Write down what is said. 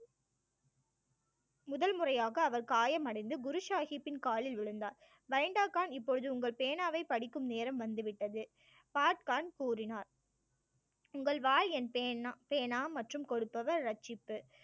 முதல் முறையாக அவர் காயமடைந்து குரு சாஹிப்பின் காலில் விழுந்தார் பெயிண்டே கான் இப்பொழுது உங்கள் பேனாவை படிக்கும் நேரம் வந்துவிட்டது காட் கான் கூறினார் உங்கள் வாய் என் பேனா~ பேனா மற்றும் கொடுப்பவர் ரட்சிப்பு